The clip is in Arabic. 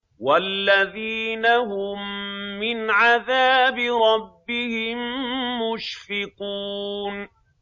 وَالَّذِينَ هُم مِّنْ عَذَابِ رَبِّهِم مُّشْفِقُونَ